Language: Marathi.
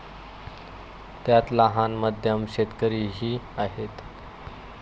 त्यात लहान, मध्यम शेतकरीही आहेत.